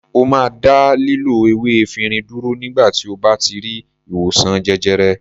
Ó máa dá lílo ewé efirin dúró nígbà tí ó bá ti rí ìwòsàn jẹjẹrẹ.